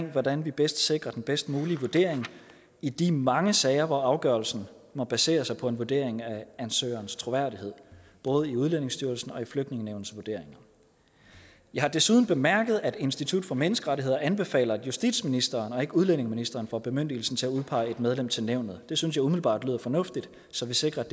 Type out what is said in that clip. af hvordan vi bedst sikrer den bedst mulige vurdering i de mange sager hvor afgørelsen må basere sig på en vurdering af ansøgerens troværdighed både i udlændingestyrelsens og i flygtningenævnets vurderinger jeg har desuden bemærket at institut for menneskerettigheder anbefaler at justitsministeren og ikke udlændingeministeren får bemyndigelsen til at udpege et medlem til nævnet det synes jeg umiddelbart lyder fornuftigt så sikres